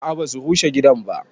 A'a ba su rushe gidan ba